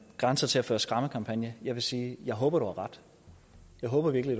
grænser til at føre skræmmekampagne jeg vil sige jeg håber du har ret jeg håber virkelig